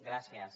gràcies